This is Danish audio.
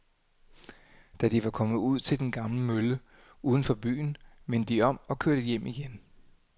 Da de var kommet ud til den gamle mølle uden for byen, vendte de om og kørte hjem igen.